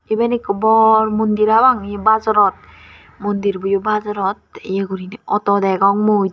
eben ekko bor mondir habang ye bajarot mondirbo yo bajarot ye guriney auto degong mui.